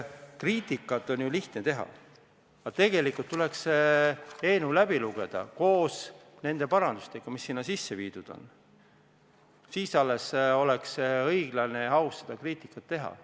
Kriitikat on ju lihtne teha, aga tegelikult tuleks see eelnõu läbi lugeda koos nende parandustega, mis sinna sisse viidud on, siis alles oleks õiglane ja aus kriitikat teha.